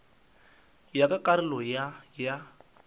ya ka karolo ya ya